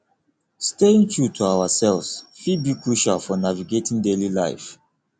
staying true to ourselves fit be crucial for navigating daily life